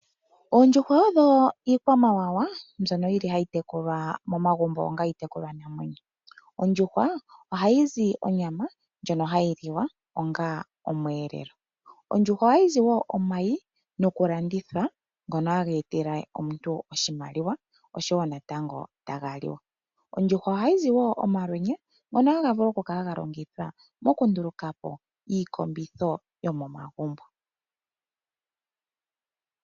Ondjuhwa odho iikwamawawa mbyono yili ha yi tekulwa momagumbo onga iitekulwa namwenyo. Ondjuhwa oha yi zi onyama ndjono ha yi liwa onga osheelelwa. Ondjuhwa oha yi zi woo omayi go ku landithwa ngono ha ha etele omuntu oshimaliwa, osho wo natango ta ga liwa. Ondjuhwa oha yi zi woo omalwenya ngono ha ga vulu woo oku kala ga longithwa oku ndulukapo iikombitho yomonagumbo.